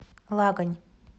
лагань